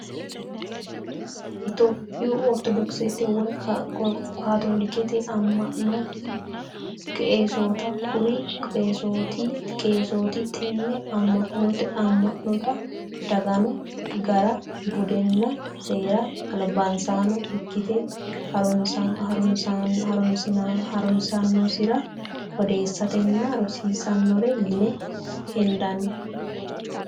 Tophiyuu oritodokisete woyi katolikete ama'no keesootta, kuri qeesooti te'ne ama'notta dagino gara budenna seera alibisaano ikkitte harunsasi'nensara odeesitanonna rosiisanore yine hendanni